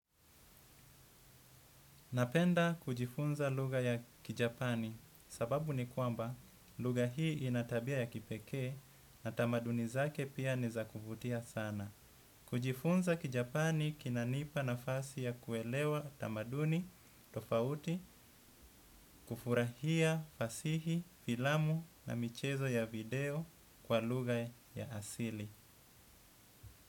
Napenda kujifunza lugha ya kijapani sababu ni kwamba lugha hii inatabia ya kipekee na tamaduni zake pia ni zakuvutia sana. Kujifunza kijapani kinanipa na fasi ya kuelewa tamaduni, tofauti, kufurahia, fasihi, filamu na michezo ya video kwa lugha ya asili.